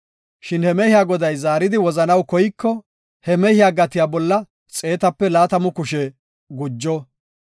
Shin he mehiya goday zaaridi wozanaw koyiko, he mehiya gatiya bolla xeetape laatamu kushe gujo.